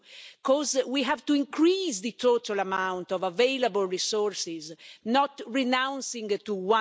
because we have to increase the total amount of available resources, not renounce it to